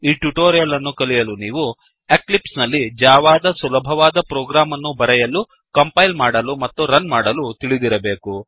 ಈ ಟ್ಯುಟೋರಿಯಲ್ ಅನ್ನು ಕಲಿಯಲು ನೀವು ಎಕ್ಲಿಪ್ಸ್ ನಲ್ಲಿ ಜಾವಾದ ಸುಲಭವಾದ ಪ್ರೋಗ್ರಾಮ್ ಅನ್ನುಬರೆಯಲು ಕಂಪೈಲ್ ಮಾಡಲು ಮತ್ತು ರನ್ ಮಾಡಲು ತಿಳಿದಿರಬೇಕು